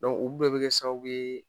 olu bɛɛ be kɛ sababu ye